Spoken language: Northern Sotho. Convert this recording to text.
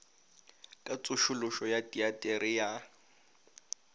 ka tsošološo ya teatere ya